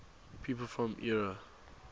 people from eure